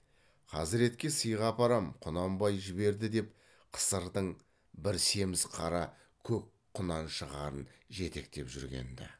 хазіретке сыйға апарам құнанбай жіберді деп қысырдың бір семіз қара көк құнаншығарын жетектеп жүрген ді